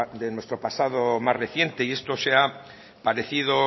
de nuestro pasado más reciente y esto se ha parecido